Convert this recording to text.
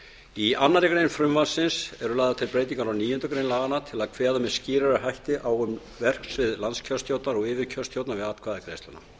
í annarri grein frumvarpsins eru lagðar til breytingar á níundu grein laganna til að kveða með skýrari hætti á um verksvið landskjörstjórnar og yfirkjörstjórnar við atkvæðagreiðsluna